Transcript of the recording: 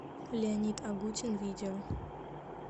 леонид агутин видео